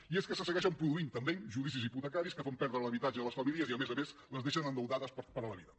i és que se segueixen produint també judicis hipotecaris que fan perdre l’habitatge a les famílies i a més a més les deixen endeutades per la vida